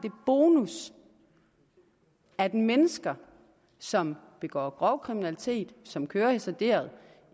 bonus at mennesker som begår grov kriminalitet som kører hasarderet